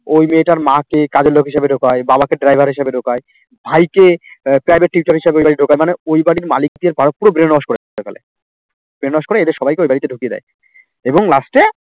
ওই মেয়েটার মা কে কাজের লোক হিসাবে ঢোকায় বাবা কে driver হিসাবে ঢোকায় ভাই কে আহ private tutor হিসাবে ওই বাড়ি ঢোকায় মানে ওই বাড়ির মালিকদের পুরো brain wash করে ফেলে brain wash করে এদের সবাই কে ওই বাড়িতে ঢুকিয়ে দেয় এবং last এ